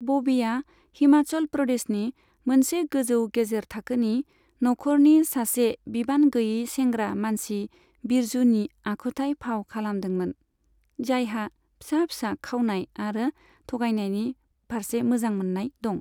बबीआ हिमाचल प्रदेशनि मोनसे गोजौ गेजेरथाखोनि नखरनि सासे बिबान गैयै सेंग्रा मानसि बिरजुनि आखुथाय फाव खालामदोंमोन, जायहा फिसा फिसा खावनाय आरो थगायनायनि फारसे मोजां मोन्नाय दं।